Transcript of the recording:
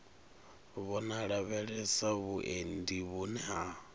vho lavhelesa vhuendi vhune ha